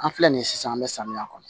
An filɛ nin ye sisan an bɛ samiya kɔnɔ